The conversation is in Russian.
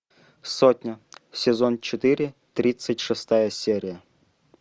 сотня сезон четыре тридцать шестая серия